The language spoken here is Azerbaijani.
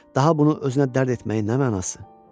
Daha bunu özünə dərd etməyinə nə mənası?